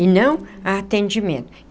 e não a atendimento.